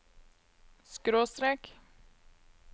skråstrek